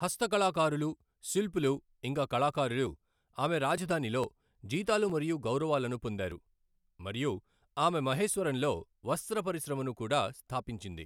హస్తకళాకారులు, శిల్పులు ఇంకా కళాకారులు ఆమె రాజధానిలో జీతాలు మరియు గౌరవాలను పొందారు మరియు ఆమె మహేశ్వరంలో వస్త్ర పరిశ్రమను కూడా స్థాపించింది.